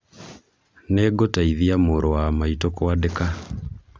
Nĩngũteithia mũrũ wa maitũ kwandĩka